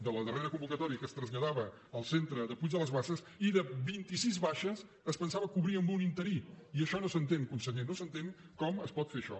de la darrera convocatòria que es traslladava al centre de puig de les basses i vint i sis baixes es pensaven cobrir amb un interí i això no s’entén conseller no s’entén com es pot fer això